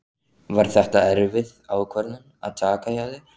Var þetta erfið ákvörðun að taka hjá þér?